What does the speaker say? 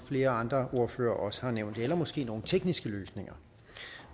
flere andre ordførere også har nævnt eller måske nogle tekniske løsninger